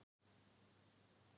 Dollan er hálfnuð.